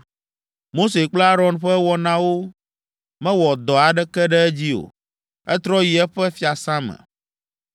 Mose kple Aron ƒe wɔnawo mewɔ dɔ aɖeke ɖe edzi o; etrɔ yi eƒe fiasã me.